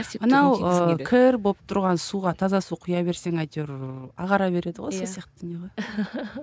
мынау ы кір болып тұрған суға таза су кұя берсең әйтеуір ағара береді ғой сол сияқты дүние ғой